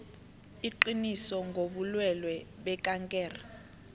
iqiniso ngobulwelwe bekankere